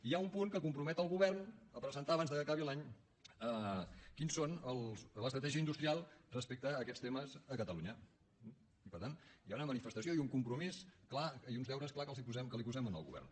hi ha un punt que compromet el govern a presentar abans que acabi l’any quina és l’estratègia industrial respecte a aquestes temes a catalunya i per tant hi ha una manifestació i un compromís clar i uns deures clars que posem al govern